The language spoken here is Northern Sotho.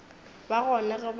ba gona ge ba ile